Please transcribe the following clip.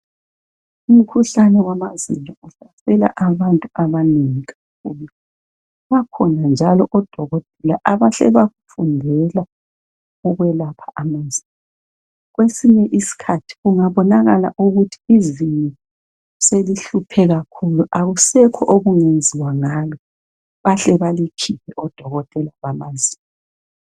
Umkhuhlane wamazinyo uhlasela abantu abanengi. Bakhona njalo odokotela abahle bafundela ukwelapha amazinyo. Kwesinye isikhathi ungabonakala ukuthi izinyo selihluphe kakhulu akusekho okungenziwa ngalo bahle balikhiphe odokotela bamazinyo.